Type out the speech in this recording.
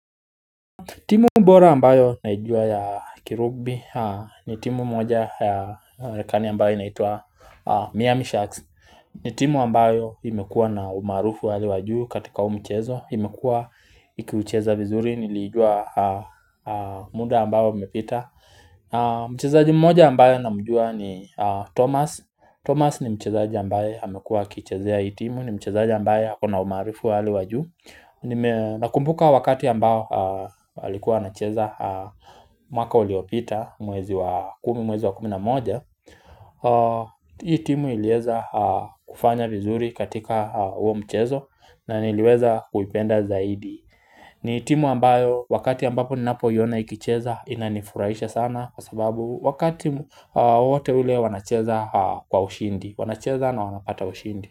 Timu bora ambayo naijua ya kirugbi ni timu moja ya Amerikani ambayo inaitwa Miami Sharks. Ni timu ambayo imekuwa na umaarufu wa hali wa juu katika huu mchezo. Imekuwa ikiucheza vizuri niliijua muda ambao umepita. Mchezaji mmoja ambayo namjua ni Thomas. Thomas ni mchezaji ambayo amekuwa akichezea hii timu ni mchezaji ambayo akona umaarufu wa hali wa juu. Nakumbuka wakati ambao alikuwa anacheza mwaka uliopita mwezi wa kumi mwezi wa kumi na moja Hii timu iliweza kufanya vizuri katika huo mchezo na niliweza kuipenda zaidi ni timu ambayo wakati ambapo ninapoiona ikicheza inanifurahisha sana Kwa sababu wakati wowote ule wanacheza kwa ushindi wanacheza na wanapata ushindi.